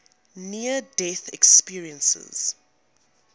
near death experiences